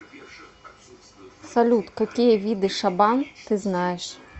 салют какие виды шабан ты знаешь